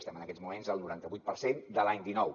estem en aquests moments al noranta vuit per cent de l’any dinou